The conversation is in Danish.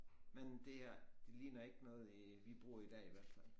Men det er det ligner ikke noget øh vi bruger i dag i hvert fald